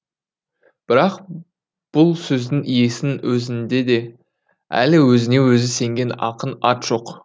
бірақ бұл сөздің иесінің өзінде де әлі өзіне өзі сенген ақын ат жоқ